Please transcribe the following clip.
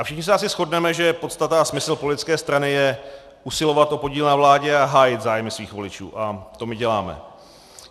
A všichni se asi shodneme, že podstata a smysl politické strany je usilovat o podíl na vládě a hájit zájmy svých voličů, a to my děláme.